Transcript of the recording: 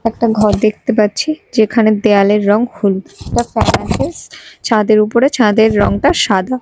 একটা ঘর দেখতে পাচ্ছি যেখানে দেওয়ালের রঙ হলুদ একটা ছাদের উপরে ছাদের রঙটা সাদা।